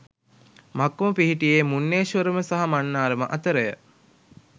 මක්කම පිහිටියේ මුන්නේශ්වරම සහ මන්නාරම අතරය.